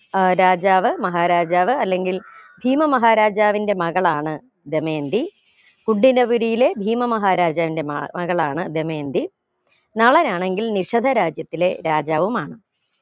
ഏർ രാജാവ് മഹാരാജാവ് അല്ലെങ്കിൽ ഭീമ മഹാരാജാവിന്റെ മകളാണ് ദമയന്തി ഉഡിനപുരിയിലെ ഭീമ മഹാരാജാവിന്റെ മ മകളാണ് ദമയന്തി നളനാണെങ്കിൽ നിശദ രാജ്യത്തിലെ രാജാവുമാണ്